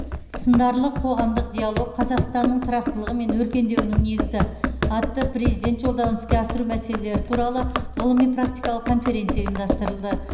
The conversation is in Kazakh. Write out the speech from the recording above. сындарлы қоғамдық диалог қазақстанның тұрақтылығы мен өркендеуінің негізі атты президент жолдауын іске асыру мәселелері туралы ғылыми практикалық конференция ұйымдастырылды